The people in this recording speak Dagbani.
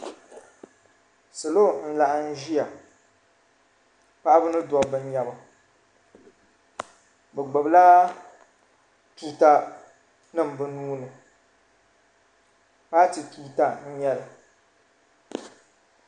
Salo n laɣim ʒiya paɣaba ni dabba n nyɛba bi gbubi la tuuta nim bi nuu ni paati tuuta n nyɛli.